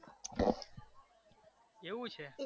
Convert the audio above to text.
એવુ છે?